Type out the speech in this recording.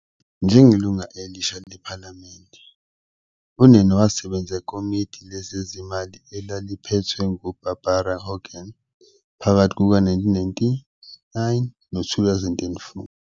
Njengelungu elisha lePhalamende, uNene wasebenza ekomidini lezezimali, elaliphethwe nguBarbara Hogan phakathi kuka-1999 no-2004.